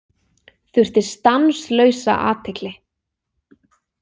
Þurfti stanslausa athygli.